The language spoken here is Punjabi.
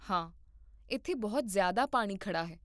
ਹਾਂ, ਇੱਥੇ ਬਹੁਤ ਜ਼ਿਆਦਾ ਪਾਣੀ ਖੜ੍ਹਾ ਹੈ